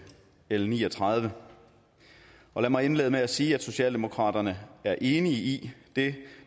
l ni og tredive lad mig indlede med at sige at socialdemokratiet er enige i det